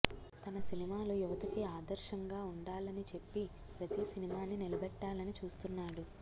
తన సినిమాలు యువతకి ఆదర్శంగా ఉండాలి అని చెప్పి ప్రతి సినిమాని నిలబెట్టాలని చూస్తున్నాడు